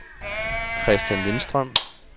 Kristian Lindstrøm